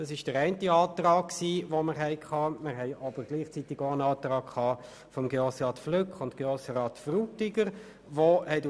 Gleichzeitig lag ein Antrag seitens der Grossräte Flück und Frutiger vor: